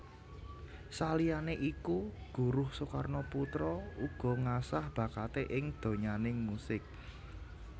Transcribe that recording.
Saliyane iku Guruh Soekarnoputra uga ngasah bakaté ing donyaning musik